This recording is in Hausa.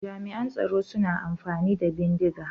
Jami'an tsaro suna amfani da bindiga.